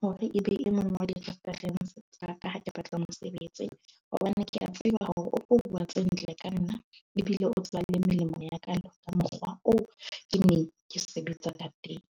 hore e be e mong wa di-reference tsa ka ha ke batla mosebetsi. Hobane ke a tseba hore o tlo bua tse ntle ka nna ebile o tseba le melemo ya ka. Mokgwa oo ke ne ke sebetsa ka teng.